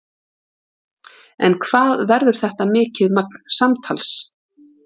En hvað verður þetta mikið magn samtals?